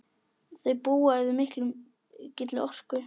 Þau búa yfir mikilli orku.